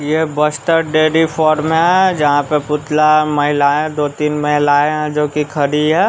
यह बस्टर डेरी फॉर में है जहां पर पुतला महिलाएं दो तीन महिलाएं हैं जो कि खड़ी है।